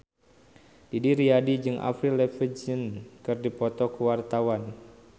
Didi Riyadi jeung Avril Lavigne keur dipoto ku wartawan